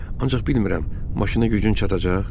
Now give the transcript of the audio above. Ancaq bilmirəm, maşına gücün çatacaq?